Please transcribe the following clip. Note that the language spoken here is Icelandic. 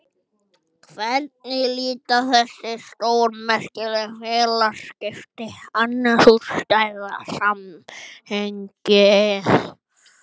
Hvernig líta þessi stórmerkilegu félagsskipti annars út í stærra samhengi?